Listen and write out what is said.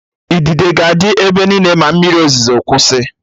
Idide ga-adị ebe niile ma mmiri ozuzo kwụsị